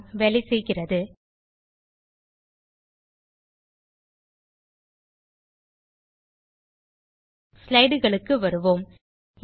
ஆம் வேலை செய்கிறது ஸ்லைடுகளுக்கு வருவோம்